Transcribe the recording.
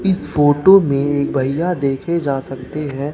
इस फोटो में एक भईया देखे जा सकते हैं।